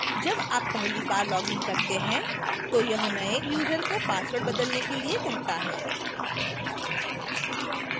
जब आप पहली बार logs इन करते हैं तो यह नए user को password बदलने के लिए कहता है